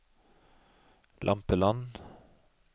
Lampeland